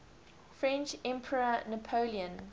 french emperor napoleon